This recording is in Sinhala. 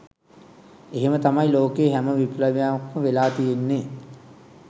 එහෙම තමයි ලෝකයේ හැම විප්ලවයක්ම වෙලා තියෙන්නේ